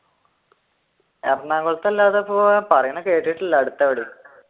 എറണാകുളത്തല്ലാതെ ഇപ്പോൾ പറയണ കേട്ടിട്ടില്ല അടുത്തെവിടേം